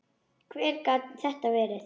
Hver gat þetta verið?